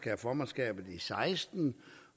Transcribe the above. have formandskabet i seksten